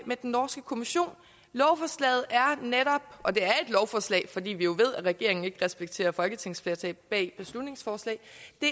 med den norske kommission lovforslaget er netop og det er et lovforslag fordi vi jo ved at regeringen ikke respekterer folketingsflertal bag beslutningsforslag